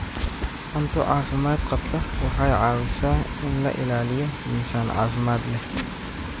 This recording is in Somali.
Cunto caafimaad qabta waxay caawisaa in la ilaaliyo miisaan caafimaad leh.